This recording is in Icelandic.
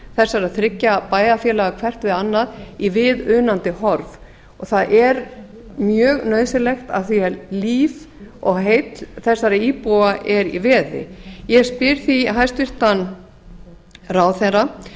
þessara þriggja bæjarfélaga hvert við annað í viðunandi horf og það er mjög nauðsynlegt af því að líf og heill þessara íbúa er í veði ég spyr því hæstvirtan ráðherra